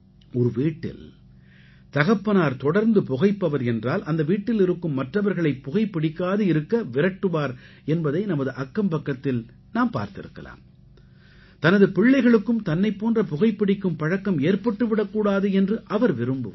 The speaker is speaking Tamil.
ஒரு வீட்டில் தகப்பனார் தொடர்ந்து புகைப்பவர் என்றால் அந்த வீட்டில் இருக்கும் மற்றவர்களை புகைப்பிடிக்காது இருக்க விரட்டுவார் என்பதை நமது அக்கம்பக்கத்தில் நாம் பார்த்திருக்கலாம் தனது பிள்ளைகளுக்கும் தன்னைப் போன்ற புகைப்பிடிக்கும் பழக்கம் ஏற்பட்டு விடக் கூடாது என்று அவர் விரும்புவார்